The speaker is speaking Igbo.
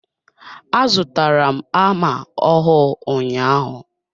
A zụtara m hama ọhụụ ụnyaahụ.